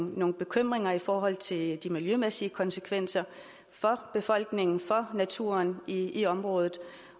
nogle bekymringer i forhold til de miljømæssige konsekvenser for befolkningen og naturen i området